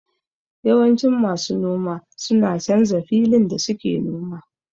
Yawanci masu noma suna canza filin da suke noma